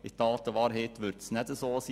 In Tat und Wahrheit wird es nicht so sein.